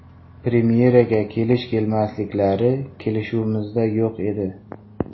Premyeraga kelish-kelmasliklari kelishuvimizda yo‘q edi.